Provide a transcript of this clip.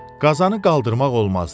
Qazanı qaldırmaq olmazdı.